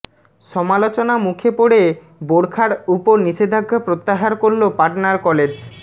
সমালোচনা মুখে পড়ে বোরখার উপর নিষেধাজ্ঞা প্রত্যাহার করল পাটনার কলেজ